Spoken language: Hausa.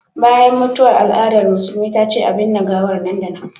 Bayan mutuwa al'adar musulmi ta ce a binne gawar nan da nan